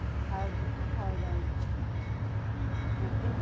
ಹೌದು ಹೌದೌದು, ಮತ್ತೆ?